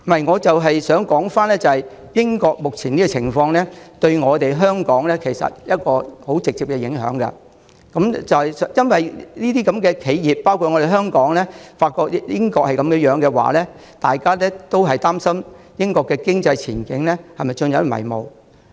我正想指出，英國目前的情況對香港有十分直接的影響。因為當英國那些企業——還有香港的企業——發覺英國現在的情況不明朗，便會擔心英國經濟前景陷入迷霧。